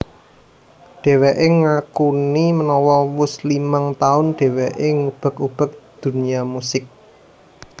Dheweké ngakuni menawa wus limang taun dheweké ngubek ubek dunya musik